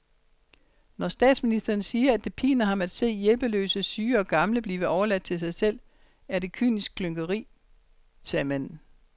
Når statsministeren siger, at det piner ham at se hjælpeløse syge og gamle blive overladt til sig selv, er det kynisk hykleri, sagde manden